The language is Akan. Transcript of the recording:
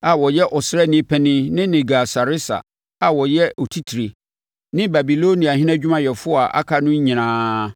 a ɔyɛ ɔsraani panin ne Nergal-Sareser a ɔyɛ otitire, ne Babiloniahene adwumayɛfoɔ a aka no nyinaa.